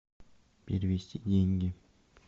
перевести деньги